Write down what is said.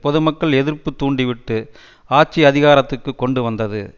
பொதுமக்கள் எதிர்ப்பு தூண்டி விட்டு ஆட்சி அதிகாரத்திற்கு கொண்டு வந்தது